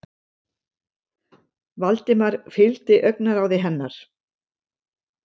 Valdimar fylgdi augnaráði hennar.